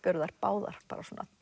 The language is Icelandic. eru þær báðar